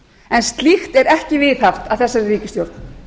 en slíkt er ekki viðhaft af þessari ríkisstjórn